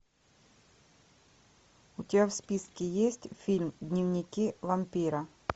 у тебя в списке есть фильм дневники вампира